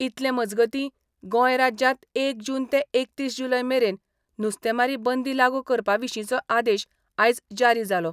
इतले मजगतीं, गोंय राज्यांत एक जून ते एकतीस जुलय मेरेन नुस्तेमारी बंदी लागू करपा विशींचो आदेश आयज जारी जालो.